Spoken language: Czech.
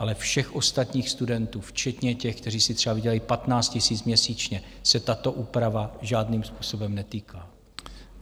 Ale všech ostatních studentů, včetně těch, kteří si třeba vydělají 15 000 měsíčně, se tato úprava žádným způsobem netýká.